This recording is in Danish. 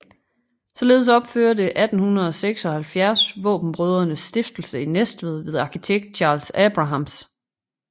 Således opførtes 1876 Vaabenbrødrenes Stiftelse i Næstved ved arkitekt Charles Abrahams